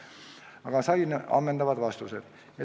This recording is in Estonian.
Aga ma sain ammendavad vastused.